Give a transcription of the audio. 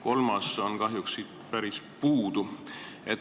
Kolmas on kahjuks siit päris puudu.